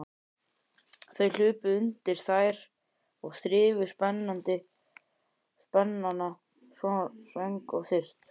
Þau hlupu undir þær og þrifu spenana svöng og þyrst.